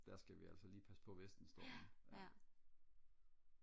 der skal vi altså lige passe på vesten stormen ja